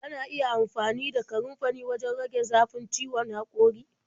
Ana iya amfani da kanunfari wajen rage zafin ciwon haƙori.